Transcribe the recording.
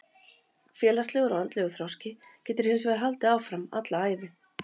Félagslegur og andlegur þroski getur hins vegar haldið áfram alla ævi.